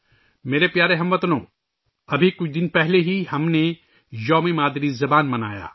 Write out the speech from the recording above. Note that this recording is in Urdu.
میرے پیارے ہم وطنو، ابھی کچھ دن پہلے ہم نے مادری زبان کا دن منایا